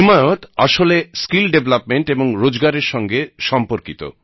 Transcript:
হিমায়ত আসলে skill development এবং রোজগার এর সঙ্গে সম্পর্কিত